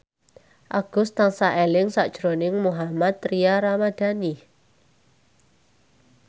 Agus tansah eling sakjroning Mohammad Tria Ramadhani